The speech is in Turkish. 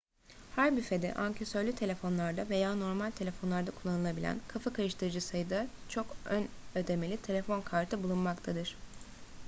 her büfede ankesörlü telefonlarda veya normal telefonlarda kullanılabilen kafa karıştırıcı sayıda çok ön ödemeli telefon kartı bulunmaktadır